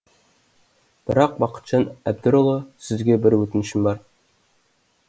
бірақ бақытжан әбдірұлы сізге бір өтінішім бар